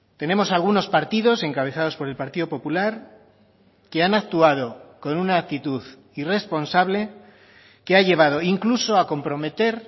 tenemos algunos partidos encabezados por el partido popular que han actuado con una actitud irresponsable que ha llevado incluso a comprometer